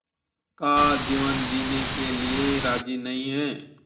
का जीवन जीने के लिए राज़ी नहीं हैं